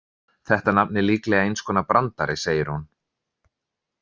Þetta nafn er líklega eins konar brandari, segir hún.